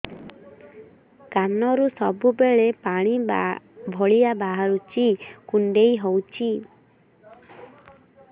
କାନରୁ ସବୁବେଳେ ପାଣି ଭଳିଆ ବାହାରୁଚି କୁଣ୍ଡେଇ ହଉଚି